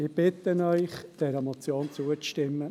Ich bitte Sie, der Motion zuzustimmen.